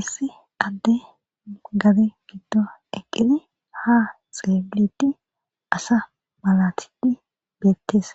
Issi adde gade giddo eqqidi ha xeeilidi asa malatidi beettees